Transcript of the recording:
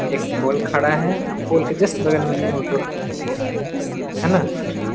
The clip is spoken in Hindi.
एक पोल खड़ा है पोल के जस्ट बगल में ही ऑटो खड़ा है है ना --